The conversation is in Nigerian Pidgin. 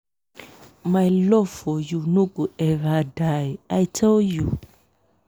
my love for you no go eva die i tell you.